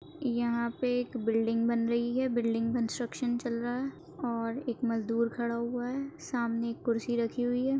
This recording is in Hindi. यहां पे एक बिल्डिंग बन रही है बिल्डिंग कंस्ट्रक्शन चल रहा है और एक मजदूर खड़ा हुआ है सामने एक कुर्सी राखी हुई है।